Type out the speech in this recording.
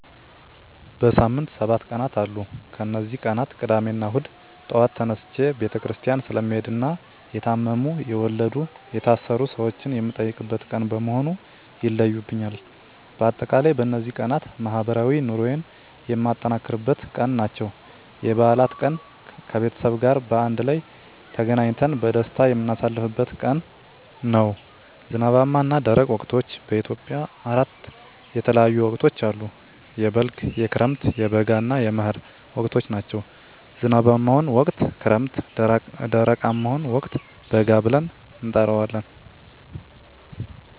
በሳምንት ሰባት ቀናት አሉ ከነዚህ ቀናት ቅዳሜና እሁድ ጧት ተነስቸ ቤተክርስቲያን ስለምሄድና የታመሙ፣ የወለዱ፣ የታሰሩ ሰወችን የምጠይቅበት ቀን በመሆኑ ይለዩብኛል። በአጠቃላይ በነዚህ ቀናት ማህበራዊ ኑሮየን የማጠናክርበት ቀን ናቸው። *የበዓላት ቀን፦ ከቤተሰብ ጋር በአንድ ላይ ተገናኝተን በደስታ የምናሳልፍበት ቀን ነው። *ዝናባማና ደረቅ ወቅቶች፦ በኢትዮጵያ አራት የተለያዩ ወቅቶች አሉ፤ የበልግ፣ የክረምት፣ የበጋ እና የመህር ወቅቶች ናቸው። *ዝናባማውን ወቅት ክረምት *ደረቃማውን ወቅት በጋ ብለን እንጠራዋለን።